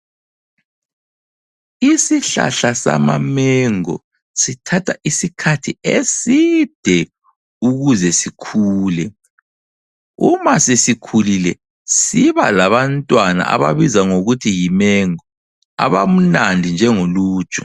Isihlahla sama mango sithatha isikhathi eside ukuze sikhule, uma sesikhulile siba labantwana ababizwa ngokuthi yimango, abamnandi njengoluju.